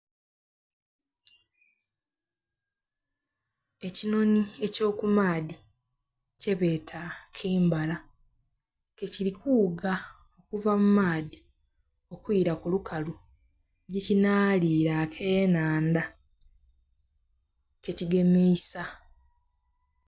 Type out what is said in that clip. Ekinhonhi eky'okumaadhi kyebeeta kimbara, ke kiri kughuga okuva mu maadhi okwila ku lukalu, yekinhaliira akenhanda kekigemisa.